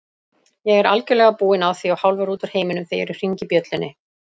Ég er algjörlega búinn á því og hálfur út úr heiminum þegar ég hringi bjöllunni.